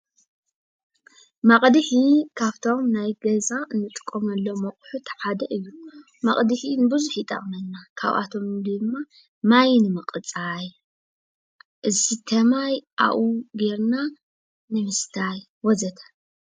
መቕድሒ ካብቶም ናይ ገዛ እንጥቀመሎም አቁሑት ሓደ እዩ:: መቕድሒ ንብዙሕ ይጠቕመና ካብአቶም ድማ ማይ ንምቅፃይ ፣ዝስተ ማይ ኣብኡ ጌርና ንምስታይ ፣ ወዘተ።